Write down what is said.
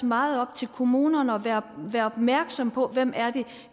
meget er op til kommunerne at være opmærksom på hvem